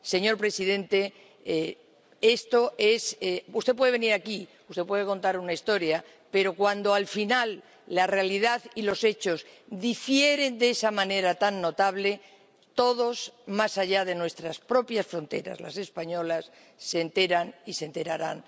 Señor presidente, usted puede venir aquí, usted puede contar una historia, pero cuando al final la realidad y los hechos difieren de esa manera tan notable, todos, más allá de nuestras propias fronteras, las españolas, se enteran y se enterarán.